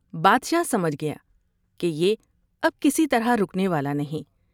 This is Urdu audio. بادشاہ سمجھ گیا کہ یہ اب کسی طرح رکنے والا نہیں ۔